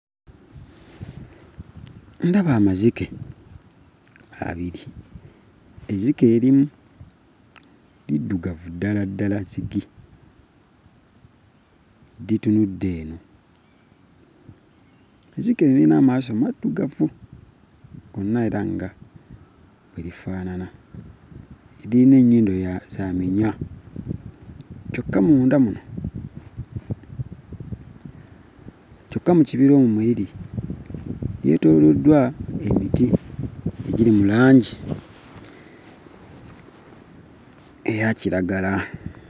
Ndaba amazike abiri, ezzike erimu liddugavu ddala ddala zigi, litunudde eno. Zzike lirina maaso maddugavu era nga bwe lifaanana. Lirina ennyindo ya za minya kyokka munda muno, kyokka mu kibira omwo mwe liri yeetooloddwa emiti egiri mu langi eyakiragala.